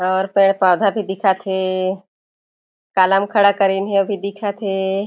और पेड़-पौधा भी दिखत हे कालम खड़ा कारीन हे भी दिखत हे।